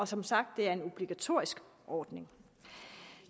som sagt en obligatorisk ordning